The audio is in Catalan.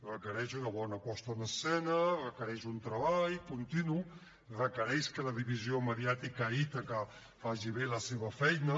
requereix una bona posada en escena requereix un treball continu requereix que la divisió mediàtica a ítaca faci bé la seva feina